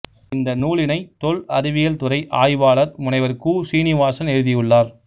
இந்த நூலினை தொல் அறிவியல் துறை ஆய்வாளர் முனைவர் கு சீ நிவாசன் எழுதியுள்ளார்